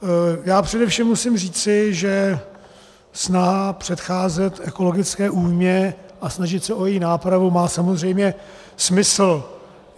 Já především musím říci, že snaha předcházet ekologické újmě a snažit se o její nápravu má samozřejmě smysl.